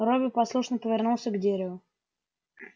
робби послушно повернулся к дереву